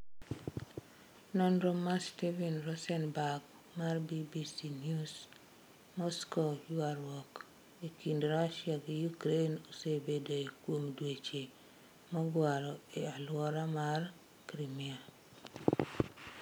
Nonro mar Steven Rosenberg mar BBC News, Moskow Ywaruok e kind Russia gi Ukraine osebedoe kuom dweche mogwaro e alwora mar Crimea.